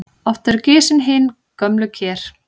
Oft eru gisin hin gömlu ker.